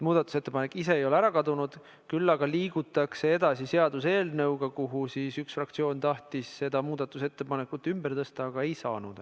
Muudatusettepanek ise ei ole ära kadunud, küll aga liigutakse edasi seaduseelnõuga, kuhu üks fraktsioon tahtis selle muudatusettepaneku ümber tõsta, aga enam ei saanud.